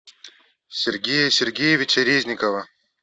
сергея сергеевича резникова